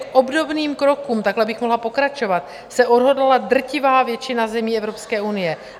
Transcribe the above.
K obdobným krokům - takhle bych mohla pokračovat - se odhodlala drtivá většina zemí Evropské unie.